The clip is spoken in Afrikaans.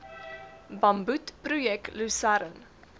bamboed projek lusern